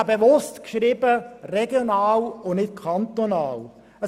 Ich habe bewusst «regional» und nicht «kantonal» geschrieben.